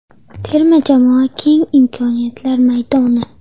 Terma jamoa keng imkoniyatlar maydoni.